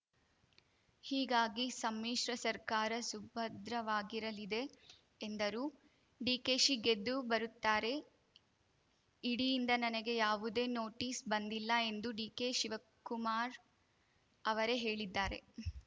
ಹೀಗಾಗಿ ಸಮ್ಮಿಶ್ರ ಸರ್ಕಾರ ಸುಭದ್ರವಾಗಿರಲಿದೆ ಎಂದರು ಡಿಕೆಶಿ ಗೆದ್ದು ಬರುತ್ತಾರೆ ಇಡಿಯಿಂದ ನನಗೆ ಯಾವುದೇ ನೋಟಿಸ್‌ ಬಂದಿಲ್ಲ ಎಂದು ಡಿಕೆಶಿವಕುಮಾರ್‌ ಅವರೇ ಹೇಳಿದ್ದಾರೆ